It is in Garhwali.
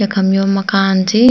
यखम यो माकन ची।